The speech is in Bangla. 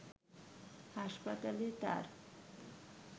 হাসপাতালে তার